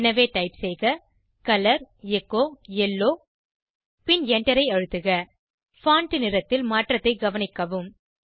எனவே டைப் செய்க colour echo yellow பின் Enter ஐ அழுத்துக பான்ட் நிறத்தில் மாற்றத்தை கவனிக்கவும்